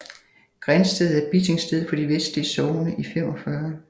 Grindsted er Bitingsted for de vestlige Sogne i 45